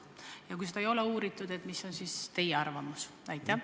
Ja kui seda ei ole uuritud, siis milline on teie arvamus?